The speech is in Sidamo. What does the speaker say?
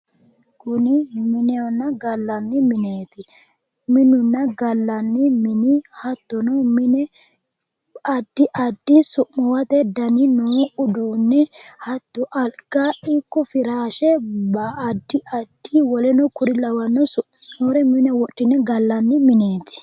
Kuni minehonna gallanni mineeti ,minunna gallanni mini hattono addi addi su'muwate danni noo uduuni hatto Aliga ikko firashe addi addi woleno mine wodhine gallanni mineti.